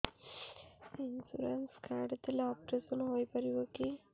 insurance card ଥିଲେ operation ହେଇପାରିବ କି